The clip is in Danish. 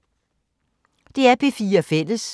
DR P4 Fælles